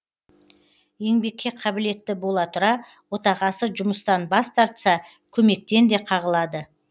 еңбекке қабілетті бола тұра отағасы жұмыстан бас тартса көмектен де қағылады